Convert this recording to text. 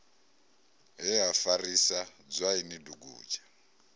he ha farisa dzwaini dugudzha